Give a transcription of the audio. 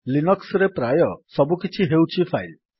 Linux ରେ ପ୍ରାୟ ସବୁକିଛି ହେଉଛି ଫାଇଲ୍